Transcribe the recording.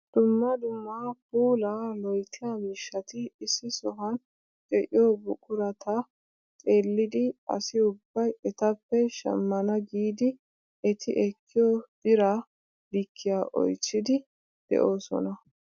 Dumma dumma puulaa loyttiyaa miishshati issi sohuwan de'iyoo buqurata xeellidi asi ubbay etappe shammana giidi eti ekkiyoo biraa likkiyaa oychchiidi de'oosona.